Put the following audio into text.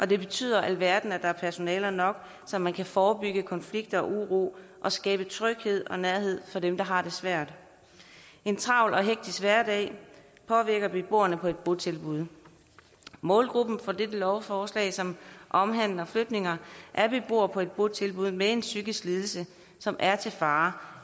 det betyder alverden at der er personaler nok så man kan forebygge konflikter og uro og skabe tryghed og nærhed for dem der har det svært en travl og hektisk hverdag påvirker beboerne på et botilbud målgruppen for dette lovforslag som omhandler flytninger er beboere på et botilbud med en psykisk lidelse som er til fare